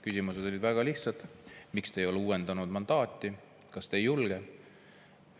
Küsimused olid väga lihtsad: miks te ei ole uuendanud mandaati, kas te ei julge?